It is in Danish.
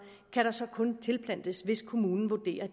så kun kan tilplantes hvis kommunen vurderer at